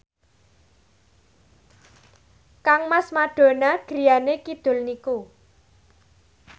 kangmas Madonna griyane kidul niku